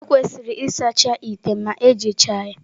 Ekwesịrị ịsacha ite ma ejicha ya.